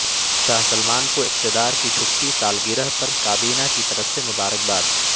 شاہ Salman کو اقتدار کی چھٹی سالگرہ پر کابینہ کی طرف سے مبارکباد